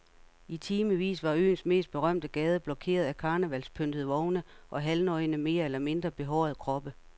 I timevis var øens mest berømte gade blokeret af karnevalspyntede vogne og halvnøgne mere eller mindre behårede kroppe.